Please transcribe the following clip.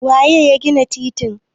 waye ya gina titin?